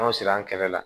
An siran kɛrɛ la